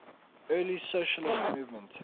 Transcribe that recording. early socialist movement